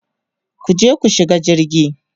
kuje ku shiga jirgi!